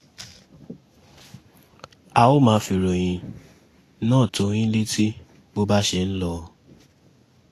a ó máa fi ìròyìn náà tó yín létí bó bá ṣe ń lọ